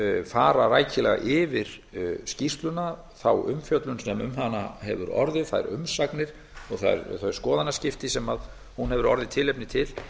fara rækilega yfir skýrsluna fá umfjöllun sem um hana hefur orðið þær umsagnir og þau skoðanaskipti sem hún hefur orðið tilefni til